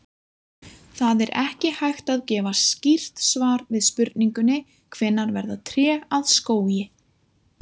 Það er ekki hægt að gefa skýrt svar við spurningunni hvenær verða tré að skógi.